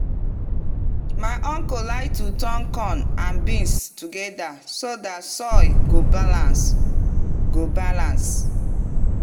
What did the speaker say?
my uncle like to turn corn and beans together so dat soil go balance. go balance.